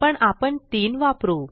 पण आपण 3 वापरू